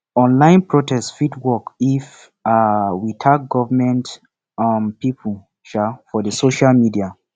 online protest fit work if um we tag government um pipo um for social media